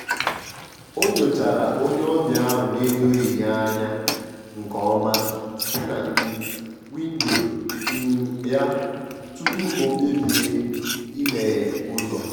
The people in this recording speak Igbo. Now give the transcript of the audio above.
ọ̀ nyochàrà onye ọbịa ahụ n’edoghị ya anya nke ọma site na um windo um ya tupu ọ kpebìe ịmeghe ụ́zọ́.